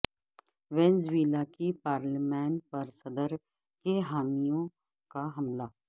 Venezuela کی پارلیمان پر صدر کے حامیوں کا حملہ